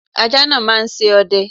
Ajá náà máa ṣe ọdẹ.